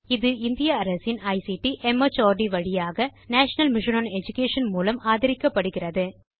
இது இந்திய அரசின் ஐசிடி மார்ட் வழியாக நேஷனல் மிஷன் ஒன் எடுகேஷன் மூலம் ஆதரிக்கப்படுகிறது